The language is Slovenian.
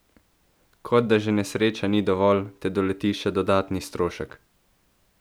Kot da že nesreča ni dovolj, te doleti še dodatni strošek!